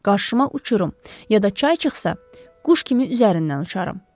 Qarşıma uçurum ya da çay çıxsa, quş kimi üzərindən uçaram.